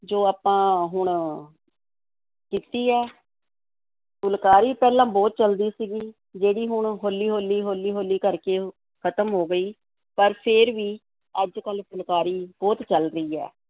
ਜੋ ਆਪਾਂ ਹੁਣ ਕੀਤੀ ਹੈ ਫੁਲਕਾਰੀ ਪਹਿਲਾਂ ਬਹੁਤ ਚੱਲਦੀ ਸੀਗੀ, ਜਿਹੜੀ ਹੁਣ ਹੌਲੀ-ਹੌਲੀ, ਹੌਲੀ-ਹੌਲੀ ਕਰਕੇ ਖਤਮ ਹੋ ਗਈ, ਪਰ ਫੇਰ ਵੀ ਅੱਜ-ਕੱਲ੍ਹ ਫੁਲਕਾਰੀ ਬਹੁਤ ਚੱਲ ਰਹੀ ਹੈ,